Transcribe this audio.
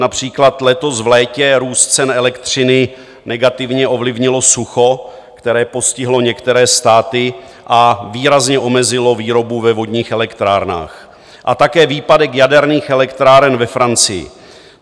Například letos v létě růst cen elektřiny negativně ovlivnilo sucho, které postihlo některé státy a výrazně omezilo výrobu ve vodních elektrárnách, a také výpadek jaderných elektráren ve Francii.